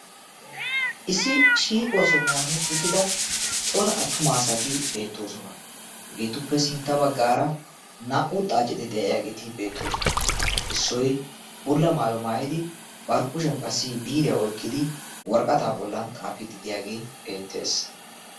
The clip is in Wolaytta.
issi shiiquwaa sohuwan uttida cora attumaasati beettoosona. hegeetuppe sintta baggaara naa77u xaacidi de7ayaageeti beettoosona. issoi bulla maayo maayidi barikushiyan qassi biiriyaa oikkidi waraqataa bollan xaafiiddi de'iyaagee beettees.